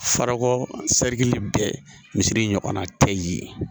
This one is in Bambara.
Farako bɛɛ misiri in ɲɔgɔnna tɛ yen